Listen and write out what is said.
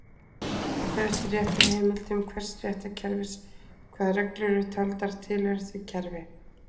Það fer eftir réttarheimildum hvers réttarkerfis hvaða reglur eru taldar tilheyra því kerfi.